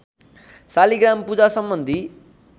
शालिग्राम पूजा सम्बन्धी